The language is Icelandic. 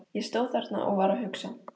Ég stóð þarna og var að hugsa.